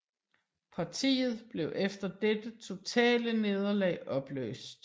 Partiet blev efter dette totale nederlag opløst